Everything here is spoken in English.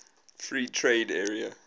free trade area